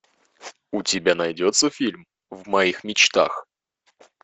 у тебя найдется фильм в моих мечтах